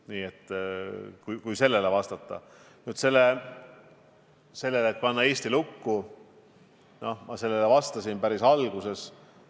Nüüd sellele küsimusele, et panna Eesti lukku, vastasin ma päris alguses.